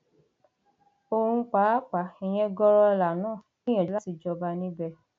òun pàápàá ìyẹn gọrọọlà náà gbìyànjú láti jọba níbẹ